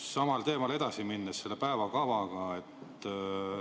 Samal teemal edasi minnes selle päevakavaga.